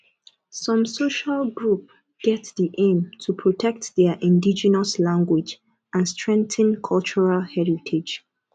some social group get di aim to protect their indigenous language and strengthen cultural heritage